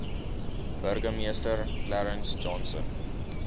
burgemeester clarence johnson